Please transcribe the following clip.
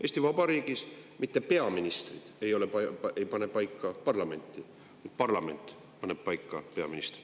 Eesti Vabariigis ei pane mitte peaministrid paika parlamenti, vaid parlament paneb paika peaministri.